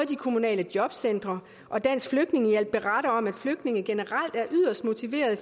de kommunale jobcentre og dansk flygtningehjælp beretter om at flygtninge generelt er yderst motiverede